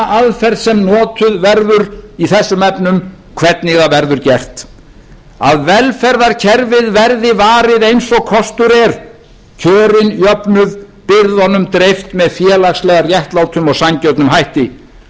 aðferð sem notuð verður í þessum efnum hvernig það verður gert að velferðarkerfið verði varið eins og kostur er kjörin jöfnuð byrðunum dreift með félagslega réttlátum og sanngjörnum hætti